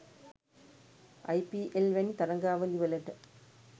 අයි P L වැනි තරගාවලිවලට